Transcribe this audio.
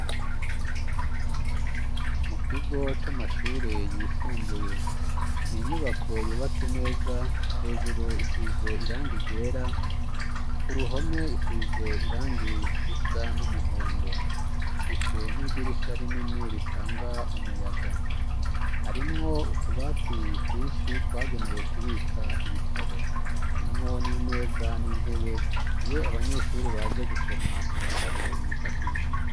Mu kigo c'amashurie yisumbuye, n'inyubako yubatse neza, hejuru isize irangi ryera ,kuruhome isize irangi risa n'umuhondo, ifise n'idirisha rinini ritanga umuyaga harimwo utubati twinshi twagenewe kubika ibitabo ,harimwo n'imeza n'intebe iyo abanyeshuri baje gusoma ibitabo bifashisha.